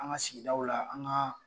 An ka sigidaw la an ka